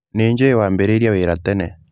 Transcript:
Nĩ njũĩ wambĩrĩirie wĩra tene.